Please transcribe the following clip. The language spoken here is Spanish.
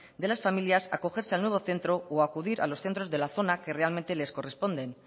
de las familias acogerse al nuevo centro o acudir a los centros de la zona que realmente les corresponde